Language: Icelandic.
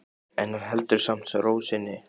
En hann heldur samt ró sinni.